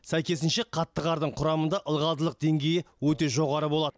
сәйкесінше қатты қардың құрамында ылғалдылық деңгейі өте жоғары болады